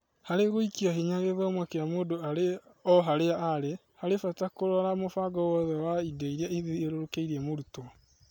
Harĩ gũĩkĩra hinya gĩthomo kĩa mũndũ arĩ oharĩa arĩ, harĩ bata kũrora mũbango wothe wa indo iria ithiũrũrũkĩirie mũrutwo.